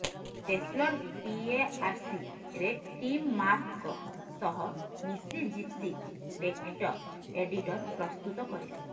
Tesler PARC ରେ Tim ମାର୍ଟଙ୍କ ସହ ମିସି ଜିପ୍ସି ଟେକ୍ଷ୍ଟ ଏଡିଟର ପ୍ରସ୍ତୁତ କରିଲେ